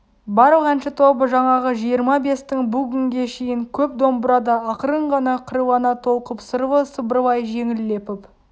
барлық әнші тобы жаңағы жиырма-бестің бұл күнге шейін көп домбырада ақырын ғана қырлана толқып сырлы сыбырлай жеңіл лепіп